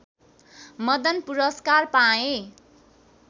मदन पुरस्कार पाए